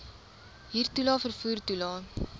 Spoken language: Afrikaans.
huurtoelae vervoer toelae